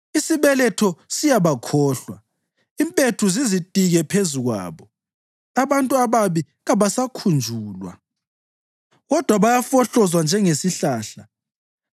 Isibeletho siyabakhohlwa, impethu zizitike phezu kwabo; abantu ababi kabasakhunjulwa kodwa bayafohlozwa njengesihlahla.